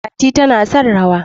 Fati tana son rawa.